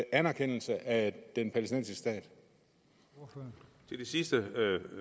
anerkendelse af den palæstinensiske stat